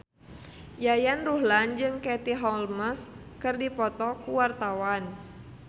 Yayan Ruhlan jeung Katie Holmes keur dipoto ku wartawan